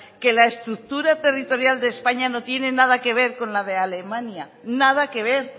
que la estructura territorial de españa no tiene nada que ver con la de alemania nada que ver